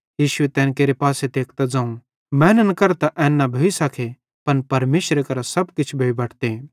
यीशुए तैन केरे पासे तेकतां ज़ोवं मैनन् करां त एन न भोइ सके पन परमेशरे करां सब किछ भोइ बटते